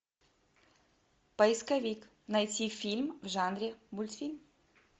поисковик найти фильм в жанре мультфильм